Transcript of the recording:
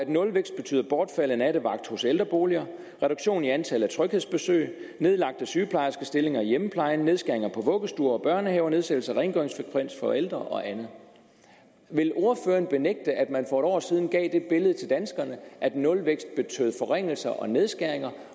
nulvækst betyder bortfald af nattevagt hos ældreboliger reduktion i antal af tryghedsbesøg nedlagte sygeplejerskestillinger i hjemmeplejen nedskæringer på vuggestuer og børnehaver nedsættelse af rengøringsfrekvens for ældre og andet vil ordføreren benægte at man for et år siden gav det billede til danskerne at nulvækst betød forringelser og nedskæringer